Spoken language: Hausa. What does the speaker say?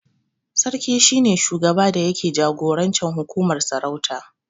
Sarki shi ne shugaba da yake jagorancin hukumar sarauta